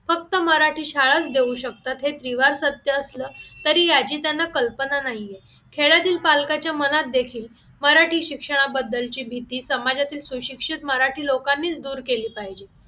फक्त मराठी शाळेत देऊ शकतात हे जिव्हार सत्य असलं तरी याची कल्पना नाही आहे खेड्यातील पालकाच्या मनात देखील मराठी शिक्षणाबद्दलची भीती समाजातील सुशिक्षित मराठी लोकांनीच दूर केली पाहिजे